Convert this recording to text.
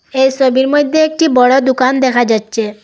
এই সবির মইধ্যে একটি বড় দুকান দেখা যাচ্ছে।